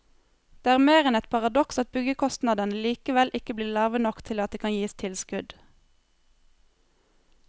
Det er mer enn et paradoks at byggekostnadene likevel ikke blir lave nok til at det kan gis tilskudd.